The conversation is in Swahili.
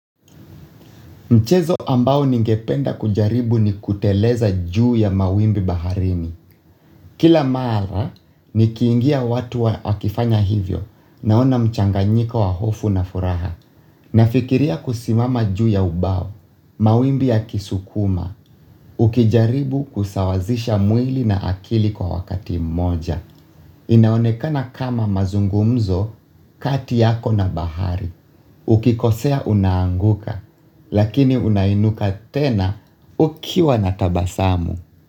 Mchezo ambao ningependa kujaribu ni kuteleza juu ya mawimbi baharini. Kila mara, nikiingia watu wa akifanya hivyo naona mchanganyiko wa hofu na furaha. Nafikiria kusimama juu ya ubao, mawimbi ya kisukuma, ukijaribu kusawazisha mwili na akili kwa wakati moja. Inaonekana kama mazungumzo kati yako na bahari. Ukikosea unaanguka, lakini unainuka tena ukiwa na tabasamu.